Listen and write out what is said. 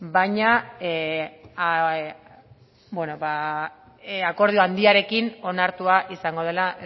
baina akordio handiarekin onartua izango dela